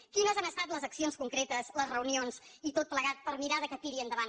quines han estat les accions concretes les reunions i tot plegat per mirar que tiri endavant aquesta inversió